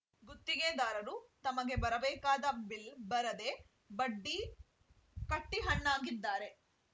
ಗುತ್ತಿಗೆದಾರರು ತಮಗೆ ಬರಬೇಕಾದ ಬಿಲ್‌ ಬರದೇ ಬಡ್ಡಿ ಕಟ್ಟಿಹಣ್ಣಾಗಿದ್ದಾರೆ